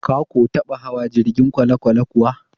Ka ko taɓa hawa jirgin kwalekwale kuwa?